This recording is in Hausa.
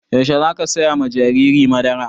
Yaushe za ka saya ma jariri madara?